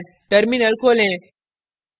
terminal खोलें